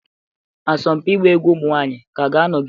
Asọmpi ịgba egwu ụmụ nwanyị ka ga-anọgide?